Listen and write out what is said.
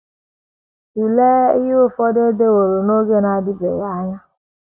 Tụlee ihe ụfọdụ e deworo n’oge na - adịbeghị anya: